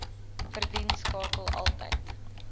verdien skakel altyd